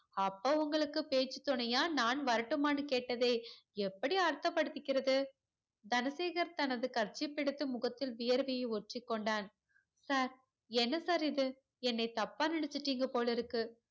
அப்போ உங்களுக்கு பேச்சி துணையா நான் வரட்டுமான்னு கேட்டதே எப்டி அர்த்த படுத்திக்கறது தனசேகர் தனது kerchief பை எடுத்து முகத்தில் வேர்வை ஒத்திகொண்டான் sir என்ன sir இது என்ன தப்பா நினச்சிட்டிங்க போலருக்கு